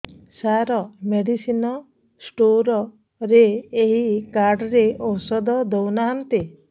ସାର medicine store ରେ ଏଇ card ରେ ଔଷଧ ଦଉନାହାନ୍ତି